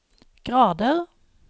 grader